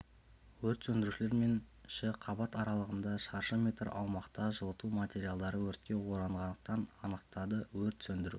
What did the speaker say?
өрт сөндірушілер мен ші қабат аралығында шаршы метр аумақта жылыту материалдары өртке оранғандығын анықтады өрт сөндіру